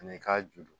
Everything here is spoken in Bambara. Ani i k'a ju